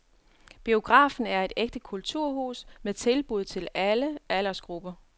Biografen er et ægte kulturhus med tilbud til alle aldersgrupper.